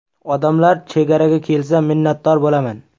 Odamlar chegaraga kelsa, minnatdor bo‘laman”.